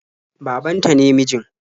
Baban ta ne mijin.